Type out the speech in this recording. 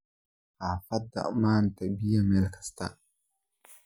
Hafada manta biya Mel kastaa.